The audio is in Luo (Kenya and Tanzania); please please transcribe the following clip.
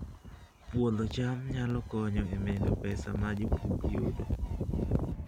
Puodho cham nyalo konyo e medo pesa ma jopur yudo